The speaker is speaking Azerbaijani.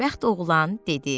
Xoşbəxt oğlan dedi: